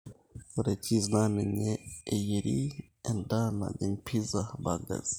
ore cheese naa ninye eyieri endaa najin pizzao burgers